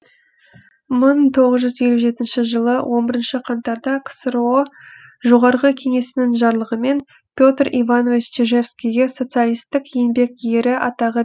мың тоғыз жүз елу жетінші жылы он бірінші қаңтарда ксро жоғарғы кеңесінің жарлығымен петр иванович чижевскийге социалистік еңбек ері атағы